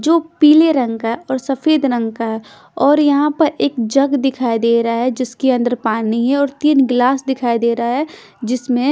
जो पीले रंग का है और सफेद रंग का और यहां पर एक जग दिखाई दे रहा है जिसके अंदर पानी है और तीन गिलास दिखाई दे रहा है जिसमें--